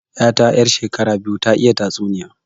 'Yata 'yar shekara biyu ta iya tatsuniya